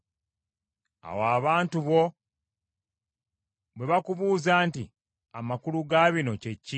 “Awo abantu bo bwe bakubuuzanga nti, ‘Amakulu ga bino kye ki?’